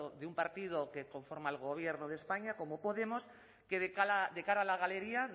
de un partido que conforma el gobierno de españa como podemos que de cara a la galería